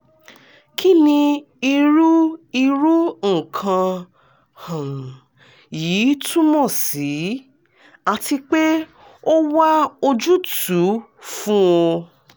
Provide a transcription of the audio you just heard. kini iru iru nkan um yii tumọ si? ati pe o wa ojutu fun o